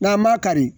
N'an ma kari